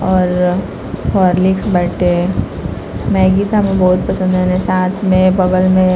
और हॉर्लिक्स बाटे मैंगी सा मुहे बहुत पंसद है साथ में और बगल में--